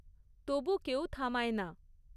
তবু কেউ থামায় না।